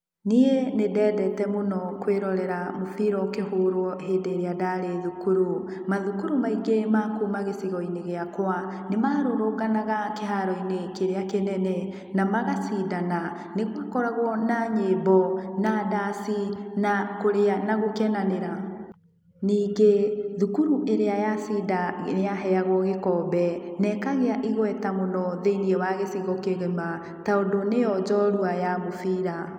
Niĩ nĩndendete mũno kũĩrorera mũbira ũkĩhũrũo hĩndĩ ĩrĩa ndarĩ thukuru. Mathukuru maingĩ ma kuuma gĩcigo-inĩ gĩakũa, nĩmarũrũnganaga kĩharo-inĩ kĩrĩa kĩnene, na magacindana. Nĩgũakoragũo na nyĩmbo, na ndaci, na kũrĩa na gũkenanĩra ningĩ thukuru ĩrĩa yacinda nĩyaheagũo gĩkombe, na ĩkagĩa igweta mũno thĩiniĩ wa gĩcigo kĩgima, tondũ nĩyo njorua ya mũbira.